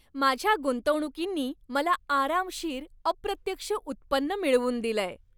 माझ्या गुंतवणुकींनी मला आरामशीर अप्रत्यक्ष उत्पन्न मिळवून दिलंय.